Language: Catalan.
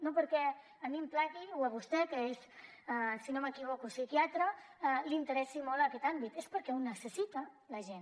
no perquè a mi em plagui o a vostè que és si no m’equivoco psiquiatra li interessi molt aquest àmbit és perquè ho necessita la gent